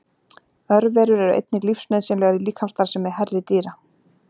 Örverur eru einnig lífsnauðsynlegar í líkamsstarfsemi hærri dýra.